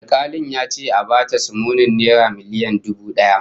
Alkalin ya ce a ba ta sumunin naira miliyan dubu daya